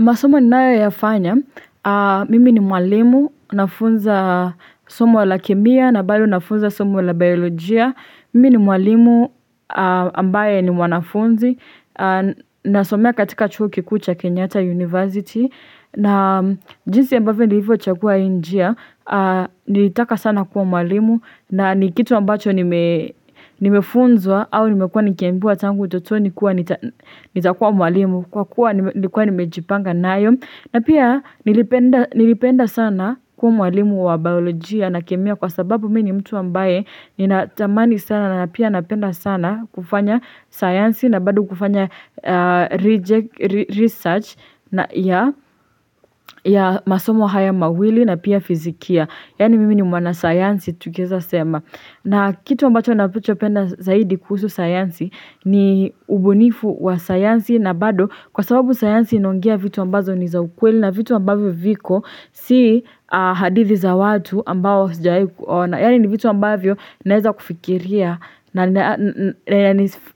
Masomo ninayo yafanya, mimi ni mwalimu, nafunza somo la kemia, na bali nafunza somo wala biologia, mimi ni mwalimu ambaye ni mwanafunzi, nasomea katika chuo kikuu cha Kenyata University, na jinsi ambavendi hivyo chakua injia, nitaka sana kuwa mwalimu, na nikitu ambacho nimefunzwa au nimekua nikiembua tangu utotoni kuwa nitakuwa mwalimu, kwa kuwa nimejipanga nayo na pia nilipenda sana kuwa mwalimu wa baolojia na kemia kwa sababu mimi ni mtu ambaye ni natamani sana na pia napenda sana kufanya science na bado kufanya research ya masomo haya mawili na pia fizikia yani mimi ni mwana science tukieza sema na kitu ambacho nacho penda zaidi kuhusu science ni ubunifu wa science na bado kwa sababu sayansi inaongea vitu ambazo ni za ukweli na vitu ambavyo viko si hadithi za watu ambao sijaikuona yani ni vitu ambavyo naeza kufikiria na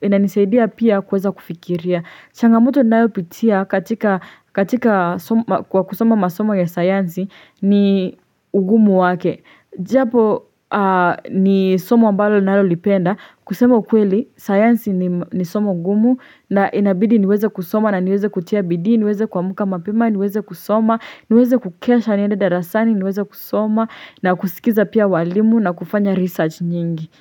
inanisaidia pia kuweza kufikiria changamoto naeo pitia katika kwa kusoma masomo ya sayansi ni ugumu wake japo ni somo ambazo ninalo lipenda kusema ukweli sayansi ni somo gumu na inabidi niweze kusoma na niweze kutia bidii, niweze kuamka mapima, niweze kusoma niweze kukesha nienda darasani, niweze kusoma na kusikiza pia walimu na kufanya research nyingi.